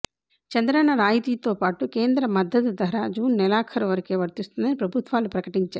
చంద్రన్న రాయితీతో పాటు కేంద్ర మద్దతుధర జూన్ నెలాఖరు వరకే వర్తిస్తుందని ప్రభుత్వాలు ప్రకటించాయి